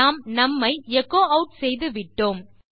நாம் நும் ஐ எச்சோ ஆட் செய்துவிட்டோம்